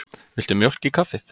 Viltu mjólk í kaffið?